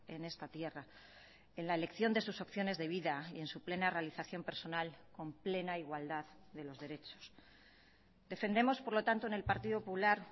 en esta tierra en la elección de sus opciones de vida y en su plena realización personal con plena igualdad de los derechos defendemos por lo tanto en el partido popular